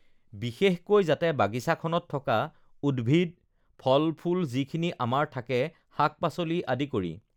বিশেষকৈ যাতে বাগিচাখনত থকা উদ্ভিদ ফল ফুল যিখিনি আমাৰ থাকে শাক-পাচলি আদি কৰি